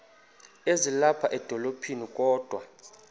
ezilapha edolophini kodwa